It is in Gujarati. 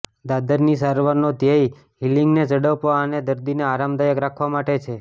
દાદરની સારવારનો ધ્યેય હીલિંગને ઝડપવા અને દર્દીને આરામદાયક રાખવા માટે છે